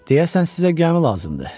Deyəsən sizə gəmi lazımdır?